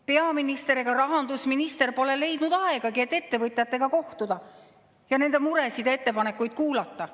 Peaminister ega rahandusminister pole leidnud aega, et ettevõtjatega kohtuda ja nende muresid ja ettepanekuid kuulata.